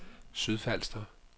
Sydfalster